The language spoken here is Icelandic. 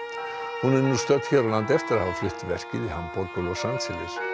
hún er nú stödd hér á landi eftir að hafa flutt verkið í Hamborg og Los Angeles